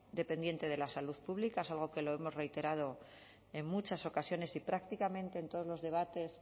dependiente de la salud pública es algo que lo hemos reiterado en muchas ocasiones y prácticamente en todos los debates